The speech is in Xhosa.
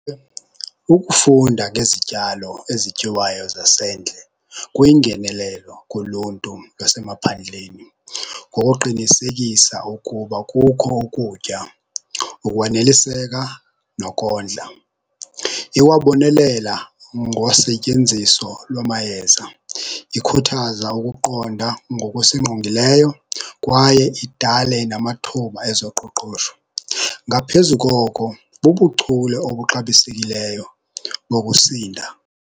Ukufunda ngezityalo ezityiwayo zasendle kuyingenelelo kuluntu lwasemaphandleni ngokuqinisekisa ukuba kukho ukutya ukwaneliseka nokondla. Ikwabonelela ngosetyenziso lwamayeza, ikhuthaza ukuqonda ngokusingqongileyo kwaye idale namathuba ezoqoqosho. Ngaphezu koko bubuchule obuxabisekileyo ngokusinda.